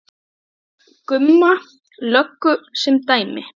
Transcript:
Ég tek Gumma löggu sem dæmi.